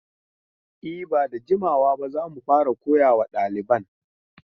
E, ba da jimawa ba za mu fara koyawa daliban.